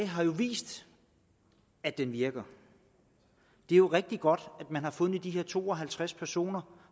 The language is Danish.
har vist at den virker det er rigtig godt at man har fundet disse to og halvtreds personer